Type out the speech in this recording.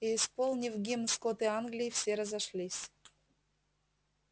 и исполнив гимн скоты англии все разошлись